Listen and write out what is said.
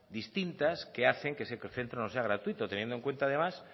distintas que hacen que ese centro no sea gratuito teniendo en cuenta además